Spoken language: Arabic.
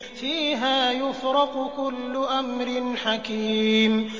فِيهَا يُفْرَقُ كُلُّ أَمْرٍ حَكِيمٍ